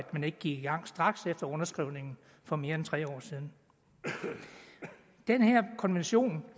man ikke gik i gang straks efter underskrivningen for mere end tre år siden den her konvention